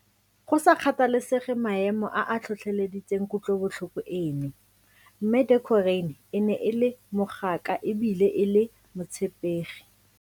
Go sa kgathalesege maemo a a tlhotlheleditseng kutlobotlhoko eno, Mme Deokarane ne e le mogaka e bile e le motshepegi.